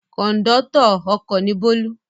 Kọ̀ńdọ́tọ̀ ọkọ̀ ni Bólú.